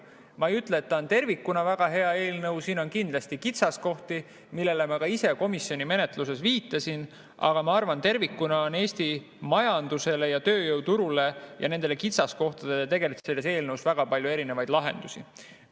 Ma ei ütle, et ta on tervikuna väga hea eelnõu, siin on kindlasti kitsaskohti, millele ma ka ise komisjoni menetluses viitasin, aga ma arvan, et tervikuna on selles eelnõus Eesti majandusele ja tööjõuturule ja nendele kitsaskohtadele väga palju lahendusi.